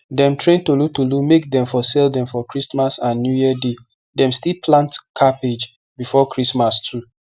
dem train tolotolo make dem for sell dem for christmas and newyear day dem still plant cabbage before christmas too